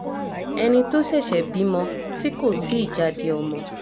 ẹni tó ṣẹ̀ṣẹ̀ bímọ tí kò tí ì jáde ọmọ